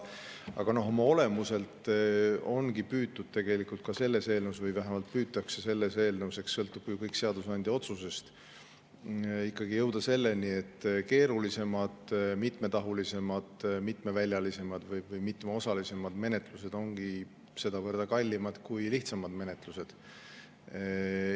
Aga oma olemuselt ongi püütud või vähemalt püütakse selles eelnõus – eks kõik sõltub lõpuks seadusandja otsusest – ikkagi jõuda selleni, et keerulisemad, mitmetahulised, mitmeväljalised või mitmeosalised menetlused ongi kallimad kui lihtsamad menetlused.